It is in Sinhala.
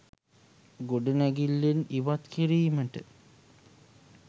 ගොඩනැඟිල්ලෙන් ඉවත් කිරීමට